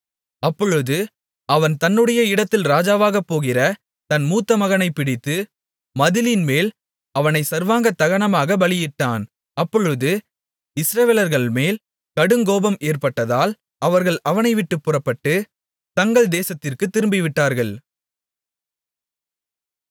அப்பொழுது அவன் தன்னுடைய இடத்தில் ராஜாவாகப்போகிற தன் மூத்த மகனைப் பிடித்து மதிலின்மேல் அவனைச் சர்வாங்க தகனமாகப் பலியிட்டான் அப்பொழுது இஸ்ரவேலர்கள்மேல் கடுங்கோபம் ஏற்பட்டதால் அவர்கள் அவனைவிட்டுப் புறப்பட்டு தங்கள் தேசத்திற்குத் திரும்பிவிட்டார்கள்